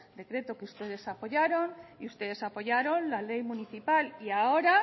decreto que ustedes apoyaron y ustedes apoyaron la ley municipal y ahora